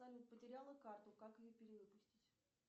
салют потеряла карту как ее перевыпустить